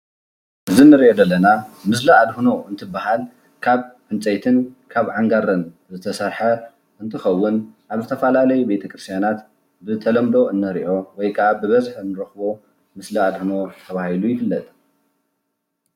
እዚ እነሪኦ ዘለና ምስሊ ኣድህኖ እንትብሃል ካብ ዕንፀይትን ካን ኣንጋረን ዝተሰርሐ እንትኸዉን ኣብ ዝተፈላለዩ ቤተ ክርስትያናት ብተለምዶ እንሪኦ ወይ ከዓ ብበዝሒ እንረኽቦ ምስሊ ኣድህኖ ተባሂሉ ይፍለጥ።